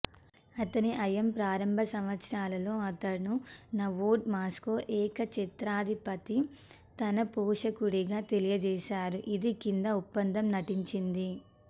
అతని హయాం ప్రారంభ సంవత్సరాలలో అతను నొవ్గోరోడ్ మాస్కో ఏకఛత్రాధిపతి తన పోషకుడిగా తెలియజేసారు ఇది కింద ఒప్పందం నటించింది